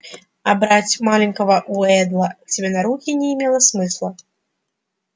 а брать маленького уэйдла к себе на руки не имело смысла